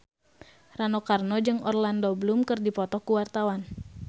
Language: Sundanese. Rano Karno jeung Orlando Bloom keur dipoto ku wartawan